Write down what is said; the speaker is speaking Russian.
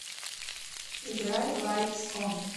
играй лайтс он